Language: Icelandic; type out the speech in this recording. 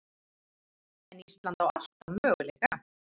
En Ísland á alltaf möguleika